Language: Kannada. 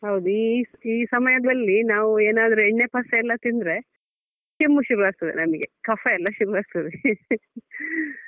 ಹೌದು ಈ~ ಈ ಸಮಯದಲ್ಲಿ ನಾವು ಏನಾದ್ರು ಎಣ್ಣೆ ಪಸೆ ಎಲ್ಲ ತಿಂದ್ರೆ ಕೆಮ್ಮು ಶುರು ಆಗ್ತದೆ ನನ್ಗೆ ಕಫ ಎಲ್ಲ ಶುರು ಆಗ್ತದೆ.